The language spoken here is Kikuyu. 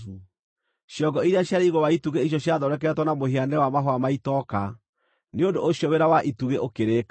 Ciongo iria ciarĩ igũrũ wa itugĩ icio ciathondeketwo na mũhianĩre wa mahũa ma itoka. Nĩ ũndũ ũcio wĩra wa itugĩ ũkĩrĩka.